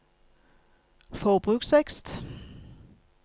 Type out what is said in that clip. forbruksvekst